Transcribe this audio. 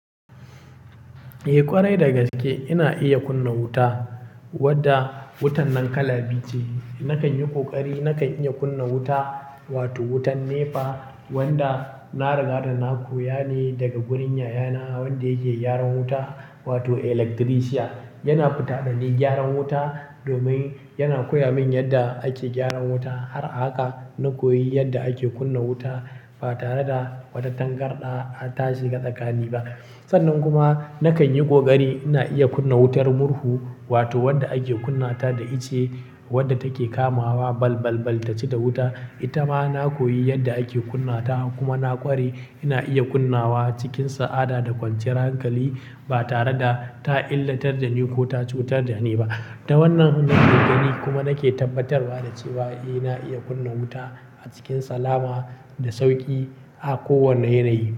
Eh ƙwarai dagaske ina iya kunna wuta wadda wutan nan kala biyu ce. Nakan yi ƙoƙari nakan iya kunna wuta wato wutan NEPA wanda na riga da na koya ne daga gurin yaya na wanda yake gyaran wuta wato electrician. Yana fita dani gyaran wuta, domin yana koya min yadda ake gyaran wuta. Har a haka, na koyi yadda ake kunna wuta ba tare da wata tangarɗa ta shiga tsakani ba. Sannan kuma nakan yi ƙoƙari ina iya kunna wutar murhu wato wadda ake kunnata da ice, wadda take kamawa balbalbal ta ci da wuta. Ita ma na koyi yadda ake kunnata kuma na ƙware ina iya kunnawa cikin sa'ada da kwanciyar hankali ba tare da ta illatar da ni ko ta cutar da ni ba. Ta wannan hudu na gani kuma nake tabbatarwa da cewa ina iya kunna wuta a cikin salama da sauƙi a kowane yanayi.